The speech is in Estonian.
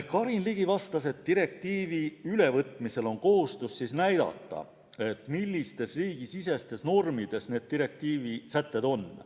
Karin Ligi vastas, et direktiivi ülevõtmisel on kohustus näidata, millistes riigisisestes normides need direktiivi sätted on.